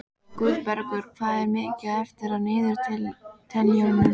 Guðbergur, hvað er mikið eftir af niðurteljaranum?